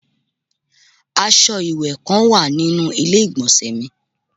Aṣọ iwẹwẹ kan wa ninu ile-igbọnsẹ mi